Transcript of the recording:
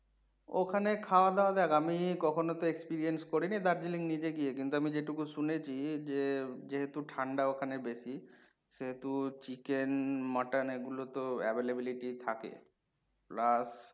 ওখানে খাওয়া দাওয়া দেখ আমি কখনো তো experience করিনি Darjeeling নিজে গিয়ে কিন্তু আমি যেটুকু শুনেছি যে, যেহেতু ঠাণ্ডা ওখানে বেশি সেহেতু chicken, mutton এগুলো তো availability থাকে plus